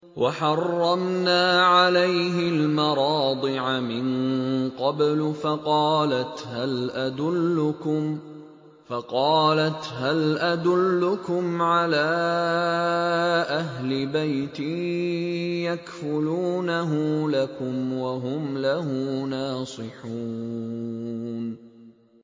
۞ وَحَرَّمْنَا عَلَيْهِ الْمَرَاضِعَ مِن قَبْلُ فَقَالَتْ هَلْ أَدُلُّكُمْ عَلَىٰ أَهْلِ بَيْتٍ يَكْفُلُونَهُ لَكُمْ وَهُمْ لَهُ نَاصِحُونَ